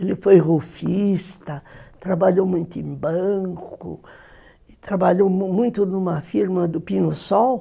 Ele foi rufista, trabalhou muito em banco, trabalhou muito numa firma do Pinho Sol.